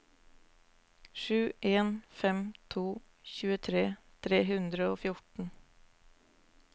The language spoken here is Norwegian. sju en fem to tjuetre tre hundre og fjorten